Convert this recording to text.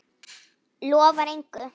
Lofar engu.